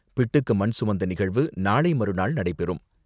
பிட்டுக்கு மண் சுமந்த நிகழ்வு நாளைமறுநாள் நடைபெறும்.